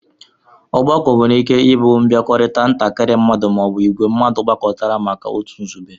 Ọgbakọ nwere ike ibu nbiakorita ntakiri mmadu ma ọ bụ ìgwé mmadu gbakọtara maka otu nzube